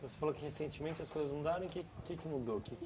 Você falou que recentemente as coisas mudaram, o que o que é que mudou?